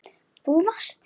Þú varst ekki.